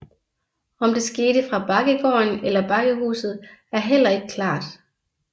Om det skete fra Bakkegården eller Bakkehuset er heller ikke klart